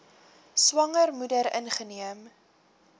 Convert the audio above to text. swanger moeder ingeneem